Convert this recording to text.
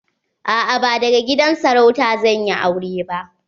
A'a ba daga gidan sarauta zan yi aure ba.